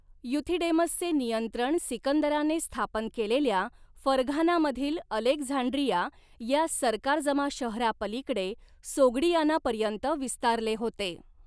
युथिडेमसचे नियंत्रण सिकंदराने स्थापन केलेल्या फरघानामधील अलेक्झांड्रिया या सरकारजमा शहरापलीकडे सोग्डियानापर्यंत विस्तारले होते.